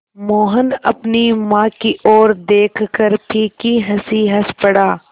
मोहन अपनी माँ की ओर देखकर फीकी हँसी हँस पड़ा